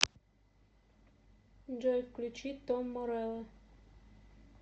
джой включи том морелло